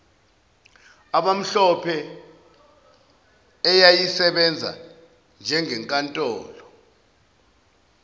abamhlophe eyayisebenza njengenkantolo